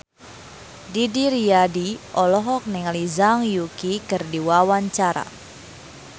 Didi Riyadi olohok ningali Zhang Yuqi keur diwawancara